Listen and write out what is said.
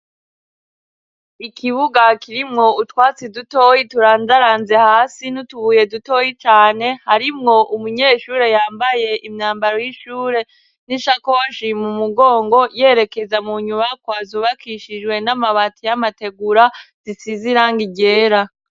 Ikibuga kirimwo utwatsi dutoyi turandaranze hasi n'utubuye dutoyi cane harimwo umunyeshure yambaye imyambaro y'ishure n'ishakoshi mu mugongo yerekeza mu nyubakwa zubakishijwe n'amabati y'amategura zisize irangi ryera.